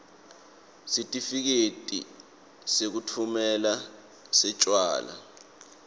sitifiketi sekutfumela setjwala